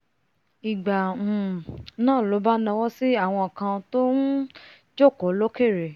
ìgbà um náà ló bá nawọ́ sí àwọn kan tọ́n um jòkó lókèrè